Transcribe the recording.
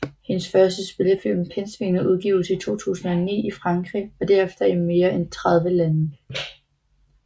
Hendes første spillefilm Pindsvinet udgives i 2009 i Frankrig og derefter i mere end tredive lande